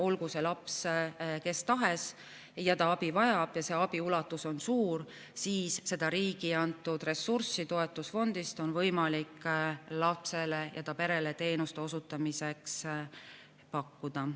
Olgu see laps kes tahes, aga kui ta abi vajab ja abi ulatus on suur, siis seda riigi antud ressurssi on võimalik toetusfondist lapsele ja ta perele teenuste osutamiseks pakkuda.